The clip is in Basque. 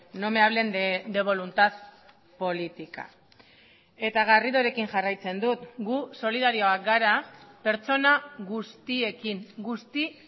no me hablen de voluntad política eta garridorekin jarraitzen dut gu solidarioak gara pertsona guztiekin guzti